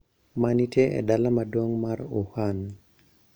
Ma nitie e dala maduong` mar Wuhan.